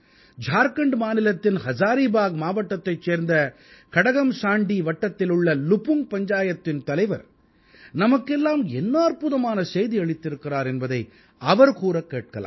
ஜார்க்கண்ட் மாநிலத்தின் ஹஸாரீபாக் மாவட்டத்தைச் சேர்ந்த கடகம்ஸாண்டீ வட்டத்திலுள்ள லுபுங்க் பஞ்சாயத்தின் தலைவர் நமக்கெல்லாம் என்ன அற்புதமான செய்தி அளித்திருக்கிறார் என்பதை அவர் கூறக் கேட்கலாம்